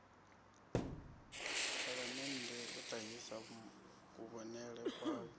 phalamennde u ṱahisa kuvhonele kwavho